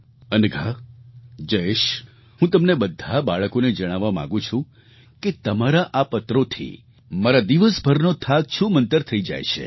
અનઘા જયેશ હું તમને બધાં બાળકોને જણાવવા માગું છું કે તમારા આ પત્રોથી મારા દિવસભરનો થાક છૂમંતર થઈ જાય છે